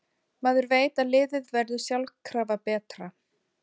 Maður veit að liðið verður sjálfkrafa betra.